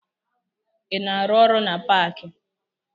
Ị na-arụ ọrụ na paakị?